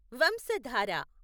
Vamsadhara